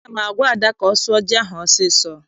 Aga m agwa Ada ka ọ sụọ ji ahụ ọsọ ọsọ!